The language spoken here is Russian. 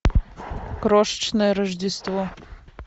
крошечное рождество